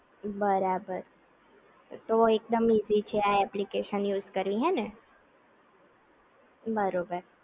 બરાબર તો એકદમ ઈઝી છે આ એપ્લિકેશન યુઝ કરવી હે ને? બરોબર